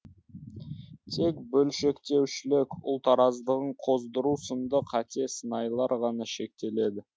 тек бөлшектеушілік ұлт араздығын қоздыру сынды қате сыңайлар ғана шектеледі